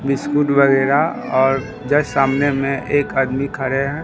Biscuit वगैरा और just सामने में एक आदमी खड़े हैं।